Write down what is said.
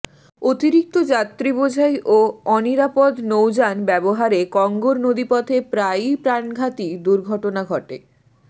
অতিরিক্ত যাত্রীবোঝাই ও অনিরাপদ নৌযান ব্যবহারে কঙ্গোর নদীপথে প্রায়ই প্রাণঘাতী দুর্ঘটনা ঘটে